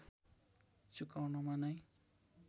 चुकाउनमा नै